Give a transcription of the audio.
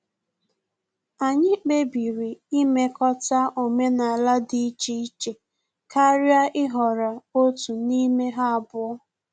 Anyị kpebiri imekọta omenala dị iche iche karịa ịhọrọ otu n'ime ha abụọ